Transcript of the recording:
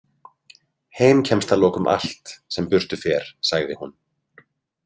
Heim kemst að lokum allt, sem burtu fer, sagði hún.